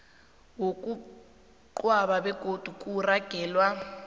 wokungcwaba begodu kuragelwe